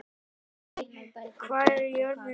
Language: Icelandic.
Guðmey, hvað er jörðin stór?